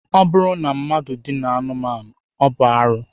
Ọ bụrụ na mmadụ dinaa anụmanụ, ọ bụ arụ